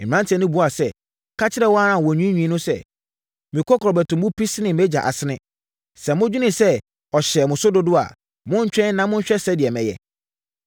Mmeranteɛ no buaa sɛ, “Ka kyerɛ wɔn a wɔnwiinwii no sɛ, ‘Me kɔkorɔbɛto mu pi sene mʼagya asene; sɛ modwene sɛ ɔhyɛɛ mo so dodo a, montwɛn na monhwɛ sɛdeɛ mɛyɛ.’